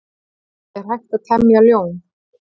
Er hægt að temja ljón?